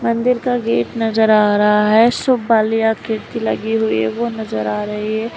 मंदिर का गेट नज़र आ रहा हैं सुपाली और खिड़की लगी हुईं है वो नजर आ रही है।